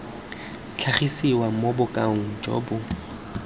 tlhagisiwa mo bokaong jo bo